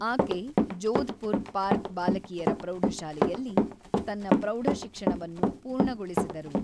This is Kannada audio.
ಆಕೆ ಜೋಧ್‌ಪುರ್ ಪಾರ್ಕ್ ಬಾಲಕಿಯರ ಪ್ರೌಢಶಾಲೆಯಲ್ಲಿ ತನ್ನ ಪ್ರೌಢಶಿಕ್ಷಣವನ್ನು ಪೂರ್ಣಗೊಳಿಸಿದರು.